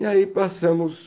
E aí passamos